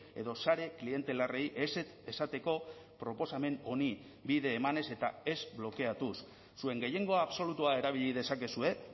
edo sare klientelarrei ezetz esateko proposamen honi bide emanez eta ez blokeatuz zuen gehiengo absolutua erabili dezakezue